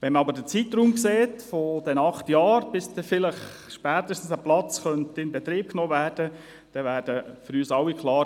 Wenn man aber den Zeitraum sieht, diese acht Jahre, bis der Platz dann spätestens in Betrieb genommen werden könnte, dann wird uns allen klar: